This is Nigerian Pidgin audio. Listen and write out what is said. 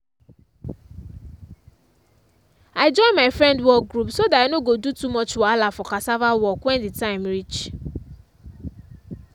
i join my friend work group so that i no go do too much wahala for cassava work when the time reach.